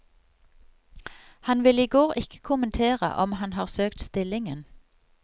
Han ville i går ikke kommentere om han har søkt stillingen.